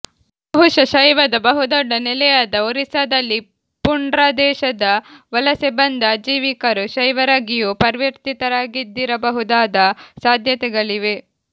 ಬಹುಶಃ ಶೈವದ ಬಹುದೊಡ್ಡ ನೆಲೆಯಾದ ಒರಿಸ್ಸಾದಲ್ಲಿ ಪುಂಢ್ರದೇಶದ ವಲಸೆ ಬಂದ ಆಜೀವಿಕರು ಶೈವರಾಗಿಯೂ ಪರಿವರ್ತಿತರಾಗಿದ್ದಿರಬಹುದಾದ ಸಾಧ್ಯತೆಗಳಿವೆ